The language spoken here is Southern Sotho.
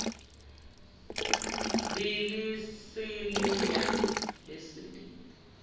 be le se le ya